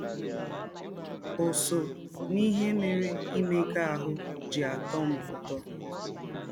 Ọ sọ n’ihe mere imega ahụ́ ji atọ m ụtọ. ”